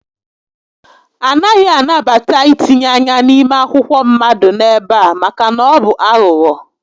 A naghị anabata ítínye ányá n'ime akwụkwọ mmadụ n'ebe a maka na ọ bụ aghụghọ